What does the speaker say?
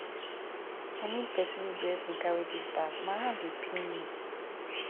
i need pesin wey go help me carry dis bag my hand dey pain me